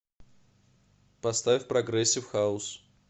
поставь прогрессив хаус